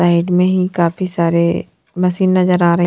side में ही काफी सारे मशीन नजर आ रहे --